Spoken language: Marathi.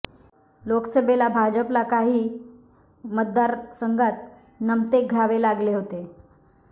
लोकसभेला भाजपला काही मतदार संघात नमते घ्यावे लागले होते